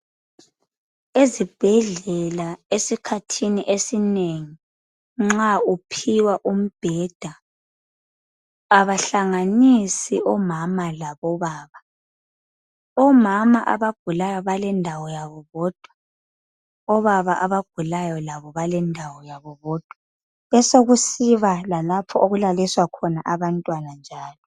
Ezibhedlela esikhathini esinengi nxa uphiwa umbheda abahlanganisi omama labo baba. Omama abagulayo balendawo yabo bodwa, obaba abagulayo balendawo yabo bodwa besekusiba lalapho okulaliswa abantwana njalo.